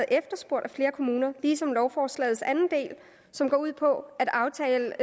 efterspurgt af flere kommuner ligesom lovforslagets anden del som går ud på at aftale